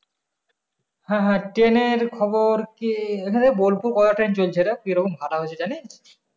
হ্যাঁ হ্যাঁ train এর খবর কি এখান থেকে বোলপুর কটা train চলছে রে কি রকম ভাড়া হয়েছে জানিস?